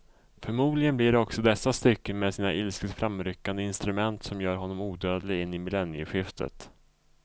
Förmodligen blir det också dessa stycken med sina ilsket framryckande instrument som gör honom odödlig in i millennieskiftet.